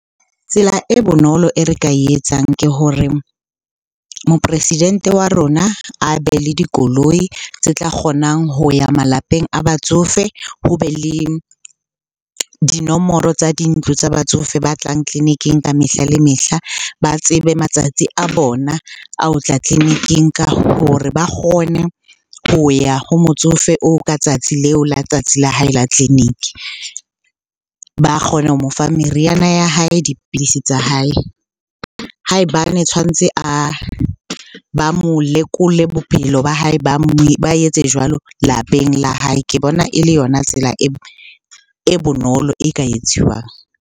Tsela e bonolo e re ka e etsang ke hore moporesidente wa rona a be le dikoloi tse tla kgonang ho ya malapeng a batsofe. Ho be le dinomoro tsa dintlo tsa batsofe ba tlang tleliniking ng ka mehla le mehla. Ba tsebe matsatsi a bona a ho tla tleliniking ka hore ba kgone ho ya ho motsofe oo ka tsatsi leo la tsatsi la hae la tleliniki. Ba kgona ho mo fa meriana ya hae, dipidisi tsa hae. Ha e bane tshwantse ba mo lekola bophelo ba hae ba etse jwalo lapeng la hae, ke bona e le yona tsela e bonolo e ka etsiwang.